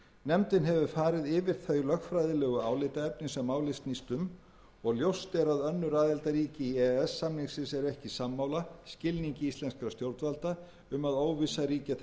nefndin hefur farið yfir þau lögfræðilegu álitaefni sem málið snýst um og ljóst er að önnur aðildarríki e e s samningsins eru ekki sammála skilningi íslenskra stjórnvalda um að óvissa ríki að þessu leyti